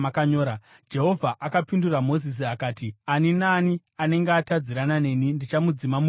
Jehovha akapindura Mozisi akati, “Ani naani anenge atadzirana neni ndichamudzima mubhuku rangu.